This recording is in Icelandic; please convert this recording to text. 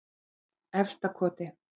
Efstakoti